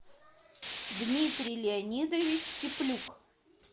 дмитрий леонидович теплюк